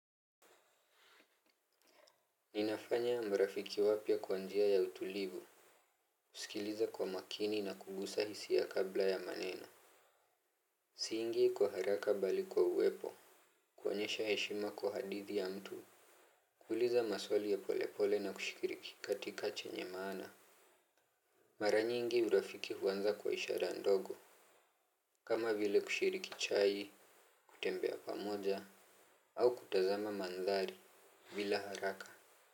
Ninafanya marafiki wapya kwa njia ya utulivu. Kusikiliza kwa makini na kugusa hisia kabla ya maneno. Siingii kwa haraka bali kwa uwepo. Kuonyesha heshima kwa hadithi ya mtu. Kuuliza maswali ya polepole na kushikiriki katika chenye maana. Mara nyingi urafiki huanza kwa ishara ndogo kama vile kushiriki chai, kutembea pamoja au kutazama mandhari bila haraka.